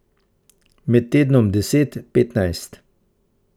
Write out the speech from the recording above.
Med tednom deset, petnajst.